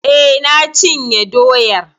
Eh, na cinye doyar.